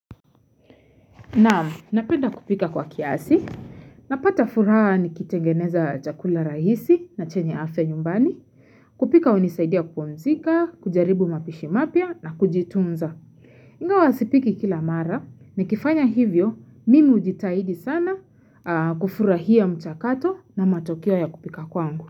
Na napenda kupika kwa kiasi, napata furaha nikitengeneza chakula rahisi na chenye afya nyumbani, kupika hunisaidia kupumzika, kujaribu mapishi mapya na kujitunza. Ingawa sipiki kila mara, nikifanya hivyo mimi hujitahidi sana kufurahia mchakato na matokeo ya kupika kwangu.